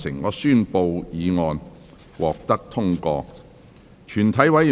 我宣布議案獲得通過。